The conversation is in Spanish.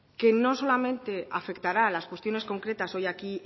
que no solamente afectará a las cuestiones concretas hoy aquí